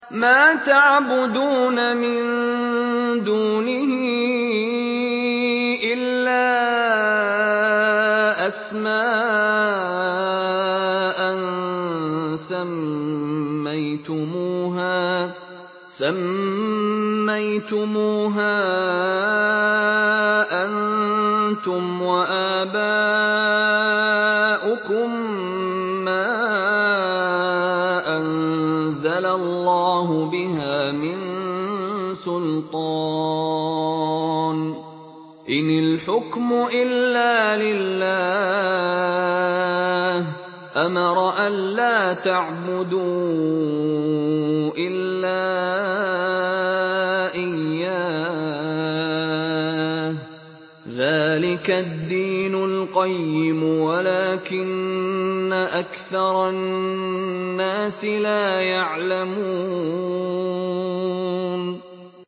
مَا تَعْبُدُونَ مِن دُونِهِ إِلَّا أَسْمَاءً سَمَّيْتُمُوهَا أَنتُمْ وَآبَاؤُكُم مَّا أَنزَلَ اللَّهُ بِهَا مِن سُلْطَانٍ ۚ إِنِ الْحُكْمُ إِلَّا لِلَّهِ ۚ أَمَرَ أَلَّا تَعْبُدُوا إِلَّا إِيَّاهُ ۚ ذَٰلِكَ الدِّينُ الْقَيِّمُ وَلَٰكِنَّ أَكْثَرَ النَّاسِ لَا يَعْلَمُونَ